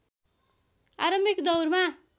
आरम्भिक दौरमा